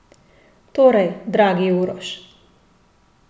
Torej, dragi Uroš.